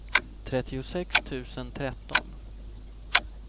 trettiosex tusen tretton